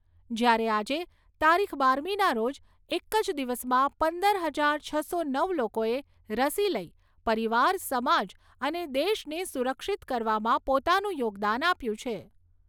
જ્યારે આજે તારીખ બારમીના રોજ એક જ દિવસમાં પંદર હજાર છસો નવ લોકોએ રસી લઈ પરિવાર, સમાજ અને દેશને સુરક્ષિત કરવામાં પોતાનું યોગદાન આપ્યું છે.